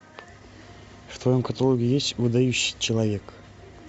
в твоем каталоге есть выдающийся человек